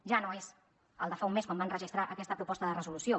ja no és el de fa un mes quan registrar aquesta proposta de resolució